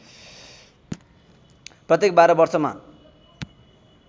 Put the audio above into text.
प्रत्येक बाह्र वर्षमा